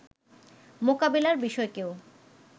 মোকাবিলার বিষয়কেও